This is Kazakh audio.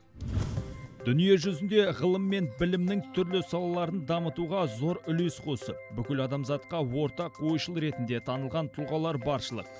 дүние жүзінде ғылым мен білімнің түрлі салаларын дамытуға зор үлес қосып бүкіл адамзатқа ортақ ойшыл ретінде танылған тұлғалар баршылық